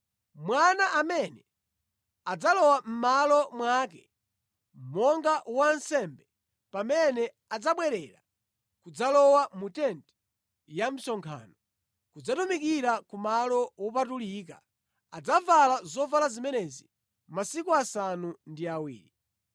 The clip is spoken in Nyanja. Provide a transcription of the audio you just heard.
Mwana amene adzalowa mʼmalo mwake monga wansembe pamene adzabwerera kudzalowa mu tenti ya msonkhano kudzatumikira ku malo wopatulika, adzavala zovala zimenezi masiku asanu ndi awiri.